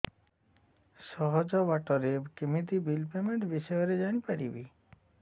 ସହଜ ବାଟ ରେ କେମିତି ବିଲ୍ ପେମେଣ୍ଟ ବିଷୟ ରେ ଜାଣି ପାରିବି